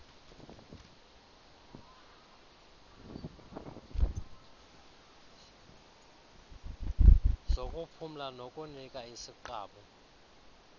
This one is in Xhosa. zokuphumla nokunika isiqabu